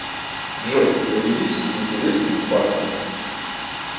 джой поделись интересным фактом